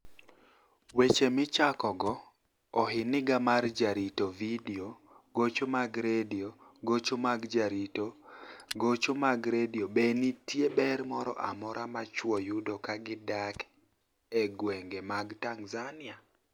Weche Michakogo Ohiniga mar Jarito Vidio Gocho mag Redio Gocho mar Jarito Gocho mar Redio Be niitie ber moro amora ma chwo yudo ka gidak e gwenige mag Tanizaniia?